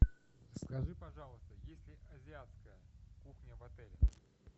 скажи пожалуйста есть ли азиатская кухня в отеле